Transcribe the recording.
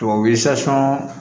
Tubabu sa